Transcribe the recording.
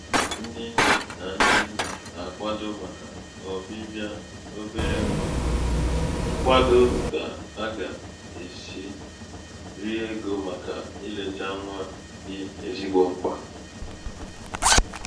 dịkà ndị nnē nà nnà nà-àkwado màkà ọ̀bịbị̀à obere ṅwā hā ṅkwado kà a gà-èsi ri egō màkà ilētā nwa dị̀ ezigbo mkpà